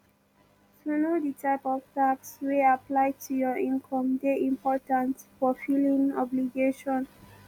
to know di type of tax wey apply to your income dey important for filimg obligation